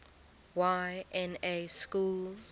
y na schools